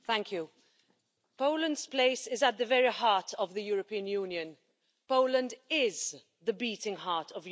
Mr President, Poland's place is at the very heart of the European Union. Poland is the beating heart of Europe.